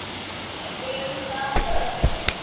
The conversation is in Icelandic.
Við erum það öll.